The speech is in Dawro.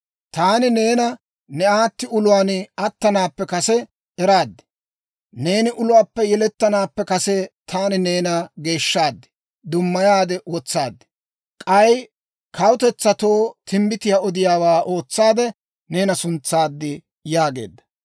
«Taani neena ne aatti uluwaan attanaappe kase eraad. Neeni uluwaappe yelettanaappe kase taani neena geeshshaade dummaya wotsaad. K'ay kawutetsatoo timbbitiyaa odiyaawaa ootsaade neena suntsaad» yaageedda.